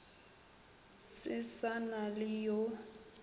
se sa na le yo